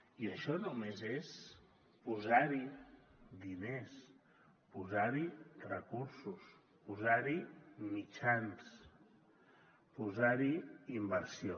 i això només és posar hi diners posar hi recursos posar hi mitjans posar hi inversió